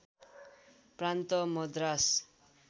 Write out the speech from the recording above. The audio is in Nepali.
प्रान्त मद्रास